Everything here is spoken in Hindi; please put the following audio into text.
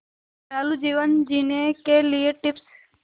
दयालु जीवन जीने के लिए टिप्स